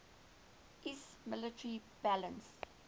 iiss military balance